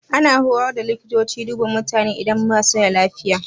Ana horar da likitoci duba mutane idan ba su da lafiya.